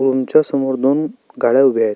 Room च्या समोर दोन गाड्या उभ्या आहे.